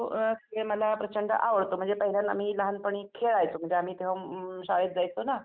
खेळ मला प्रचंड आवडतो म्हणजे पहिल्यांदा मी लहानपणी खेळायचो म्हणजे तेंव्हा आम्ही शाळेत जायचो ना.